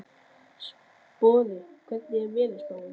Sporði, hvernig er veðurspáin?